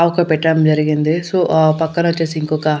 పెట్టడం జరిగింది సో ఆ పక్కన ఓచ్చేసి ఇంకొక--